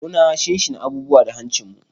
Muna shinshina abubuwa da hancinmu.